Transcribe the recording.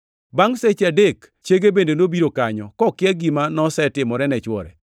Bangʼ seche adek, chiege bende nobiro kanyo, kokia gima nosetimore ne chwore.